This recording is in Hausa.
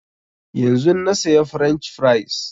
Yanzun na saya french fries